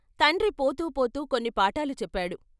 తండ్రి పోతూ పోతూ కొన్ని పాఠాలు చెప్పాడు.